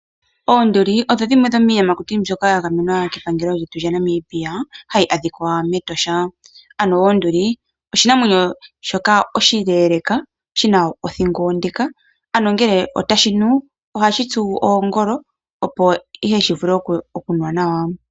Oonduli odho dhimwe dhomiiyamakuti mbyoka yagamenwa kepangelo lyetu lyaNamibia hayi adhika metosha, ano onduli oshinamwenyo shoka oshileeleeka shina othingo onde ano ngee tashinu ohashitsu oongolo opo ihe shivule okunwa nawa.